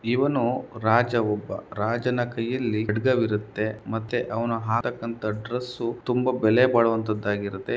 ಇವನು ರಾಜ ಒಬ್ಬ ರಾಜನ ಕೈಯಲ್ಲಿ ಖಡ್ಗವಿರುತ್ತೆ ಮತ್ತೆ ಅವನು ಹಾಕುವಂತ ಡ್ರೆಸ್ ತುಂಬ ಬೆಲೆ ಬಾಳುವಂತಾದಾಗಿರುತ್ತೆ.